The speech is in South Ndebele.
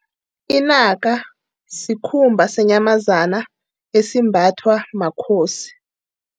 Inaka sikhumba senyamazana, esimbathwa makhosi.